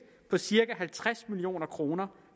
på cirka halvtreds million kroner